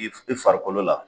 I i farikolol a